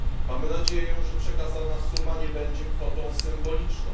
Mamy nadzieję, że przekazana suma nie będzie kwotą symboliczną.